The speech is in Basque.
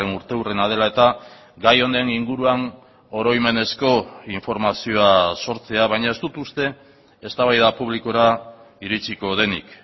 urteurrena dela eta gai honen inguruan oroimenezko informazioa sortzea baina ez dut uste eztabaida publikora iritziko denik